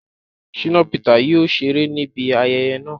Shina Peter yóò ṣere nibi ayẹyẹ naa